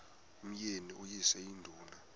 umyeni uyise iduna